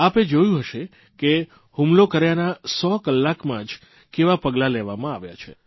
આપે જોયું હશે કે હુમલો કર્યાના 100 કલાકમાં જ કેવા પગલાં લેવામાં આવ્યા છે